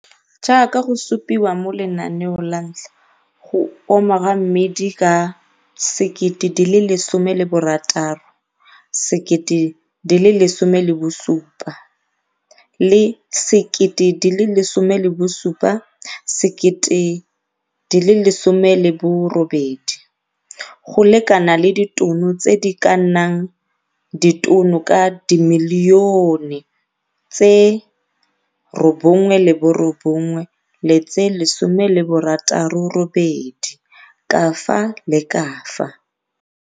Jaaka go supiwa mo Lenaneo la 1, go uma ga mmidi ka 2016, 2017 le 2017, 2018 go lekana le ditono tse di ka nnang ditono ka dimilione tse 9,9 le tse 16,8 ka fa le ka fa.